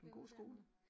På en god skole?